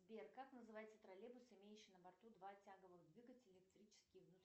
сбер как называется троллейбус имеющий на борту два тяговых двигателя электрический и внутренний